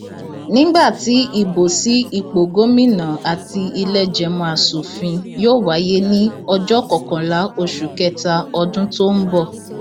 nígbà tí ìbò sí ipò gómìnà àti ìlẹẹjẹmọ asòfin yóò wáyé ní ọjọ kọkànlá oṣù kẹta ọdún tó ń bọ